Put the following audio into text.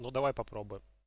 ну давай попробуем